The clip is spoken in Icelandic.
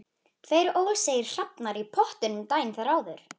Tryggvína, hvað er á áætluninni minni í dag?